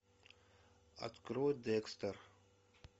открой декстер